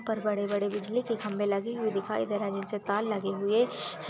-- पर बड़े-बड़े बिजली के खंबे लगे हुए दिखाई दे रहे है नीचे तार लगे हुए--